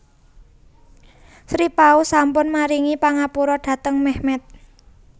Sri Paus sampun maringi pangapura dhateng Mehmet